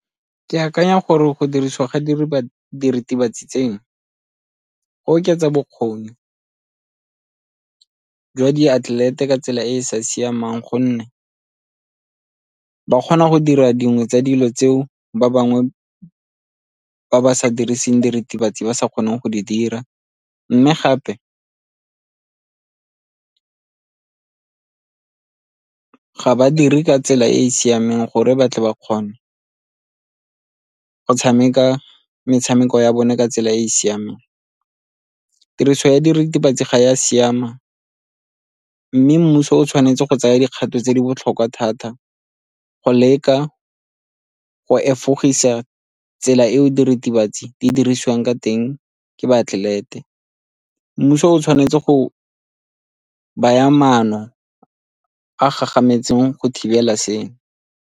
Ke akanya gore go dirisiwa ga diritibatsi tseno go oketsa bokgoni jwa diatlelete ka tsela e e sa siamang gonne ba kgona go dira dingwe tsa dilo tseo ba bangwe ba ba sa diriseng diritibatsi ba sa kgoneng go di dira, mme gape ga ba dire ka tsela e e siameng gore ba tle ba kgone go tshameka metshameko ya bone ka tsela e e siameng. Tiriso ya diritibatsi ga e a siamang mme mmuso o tshwanetse go tsaya dikgato tse di botlhokwa thata go leka go efogisa tsela eo diritibatsi di dirisiwang ka teng ke baatlelete mmuso o tshwanetse go baya maano a gagametseng go thibela seno.